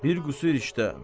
Bir qüsur işdə.